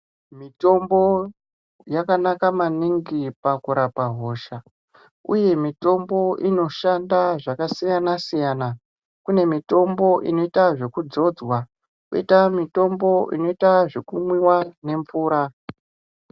Mitombo yakanaka maningi pakurapa hosha uye mitombo inoshanda zvakasiyana siyana kune mitombo inoita zvekuzodzwa koita mitombo inoitwa zvekumwiwa nemvura.